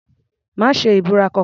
Má ṣe ìbúra kankan.